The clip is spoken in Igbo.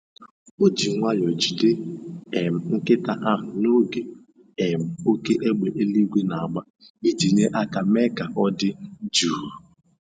O ji nwayọ jide um nkịta ahụ n'oge um oké égbè eluigwe na-agba iji nye aka mee ka ọ dị jụụ